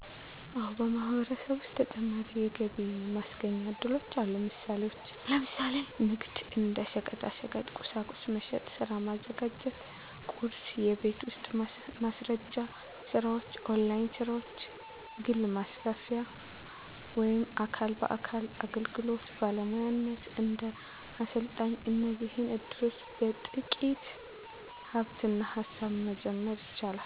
አዎን፣ በማህበረሰብ ውስጥ ተጨማሪ የገቢ ማስገኛ እድሎች አሉ። ምሳሌዎች፦ ለምሳሌ ንግድ (እንደ ሸቀጣሸቀጥ፣ ቁሳቁስ መሸጥ) ሥራ ማዘጋጀት (ቁርስ) የቤት ውስጥ ማስረጃ ስራዎች ( ኦንላይን ሥራዎች) ግል ማስተላለፊያ ወይም አካል በአካል አገልግሎት (ባለሙያነት፣ እንደ አሰልጣኝ) እነዚህ እድሎች በጥቂት ሃብትና ሃሳብ መጀመር ይቻላሉ።